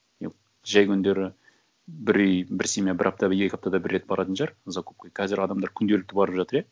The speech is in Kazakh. жай күндері бір үй бір семья бір апта екі аптада бір рет баратын шығар закупқа қазір адамдар күнделікті барып жатыр иә